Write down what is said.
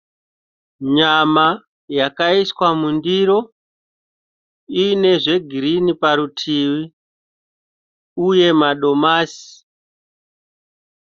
Nyama yakaiswa mundiro. lne zvegirini parutivi uye madonasi.